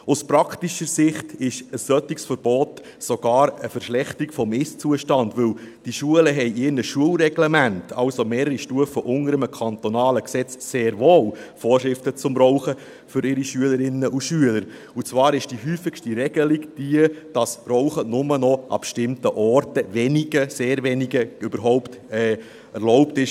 Aus praktischer Sicht bedeutet ein solches Verbot sogar eine Verschlechterung des Ist-Zustandes, denn diese Schulen haben in ihren Schulreglementen – also mehrere Stufen unter einem kantonalen Gesetz – sehr wohl Vorschriften zum Rauchen für ihre Schülerinnen und Schüler, und zwar ist die häufigste Regelung jene, dass das Rauchen für die Schüler nur noch an wenigen – sehr wenigen – bestimmten Orten überhaupt erlaubt ist.